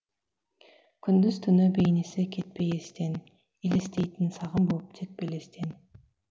күндіз түні бейнесі кетпей естен елестейтін сағым боп тек белестен